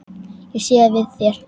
Ég sé við þér.